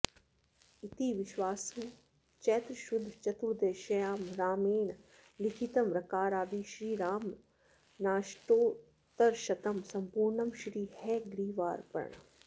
इति विश्वावसु चैत्रशुद्ध चतुर्दश्यां रामेण लिखितं रकारादि श्री रामनामाष्टोत्तरशतं सम्पूर्णम् श्री हयग्रीवार्पणम्